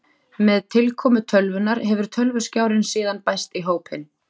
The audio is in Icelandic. Með tilkomu tölvunnar hefur tölvuskjárinn síðan bæst í hópinn.